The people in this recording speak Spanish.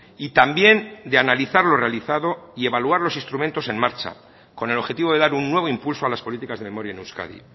y también de analizar lo realizado y evaluar los instrumentos en marcha con el objetivo de dar un nuevo impulso a las políticas de memoria en euskadi